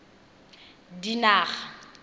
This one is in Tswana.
dinaga